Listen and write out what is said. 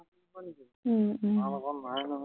উম উম